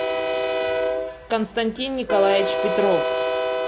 константин николаевич петров